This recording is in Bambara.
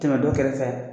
Tɛmɛ dɔ kɛrɛfɛ